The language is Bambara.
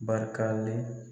Barikalen